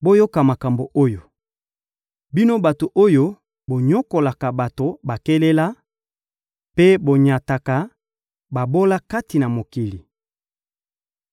Boyoka makambo oyo, bino bato oyo bonyokolaka bato bakelela mpe bonyataka babola kati na mokili.